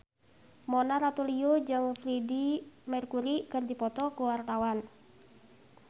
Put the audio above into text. Mona Ratuliu jeung Freedie Mercury keur dipoto ku wartawan